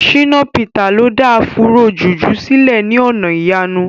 Shina Peter lo da Afúró jùjú sílẹ̀ ní ọ̀nà ìyanu.